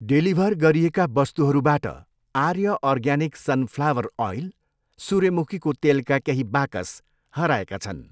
Deliver गरिएका वस्तुहरूबाट आर्य अर्ग्यानिक सन फ्लावर अइल, सूर्यमुखीको तेलका केही बाकस हराएका छन्।